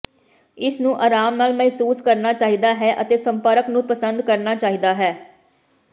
ਇਸ ਨੂੰ ਅਰਾਮ ਨਾਲ ਮਹਿਸੂਸ ਕਰਨਾ ਚਾਹੀਦਾ ਹੈ ਅਤੇ ਸੰਪਰਕ ਨੂੰ ਪਸੰਦ ਕਰਨਾ ਚਾਹੀਦਾ ਹੈ